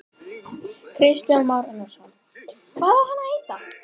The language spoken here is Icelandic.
Kristján Már Unnarsson: Hvað á hann að heita?